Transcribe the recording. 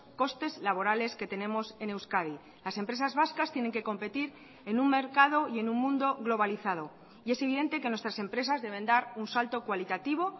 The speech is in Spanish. costes laborales que tenemos en euskadi las empresas vascas tienen que competir en un mercado y en un mundo globalizado y es evidente que nuestras empresas deben dar un salto cualitativo